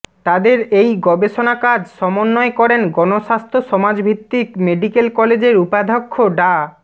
তাদের এই গবেষণাকাজ সমন্বয় করেন গণস্বাস্থ্য সমাজভিত্তিক মেডিকেল কলেজের উপাধ্যক্ষ ডা